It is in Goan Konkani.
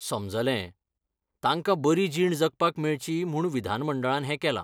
समजलें! तांकां बरी जीण जगपाक मेळची म्हूण विधानमंडळान हें केलां!